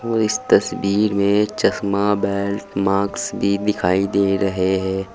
वो इस तस्वीर में चश्मा बेल्ट माक्स भी दिखाई दे रहे हैं।